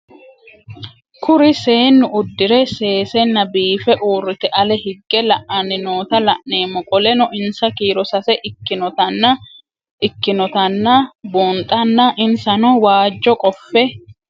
Kuri seenu udire sesena biife urite ale hige la'ani noota la'nemo qoleno insa kiiro sase ikinotana bunxana insano waajo qofe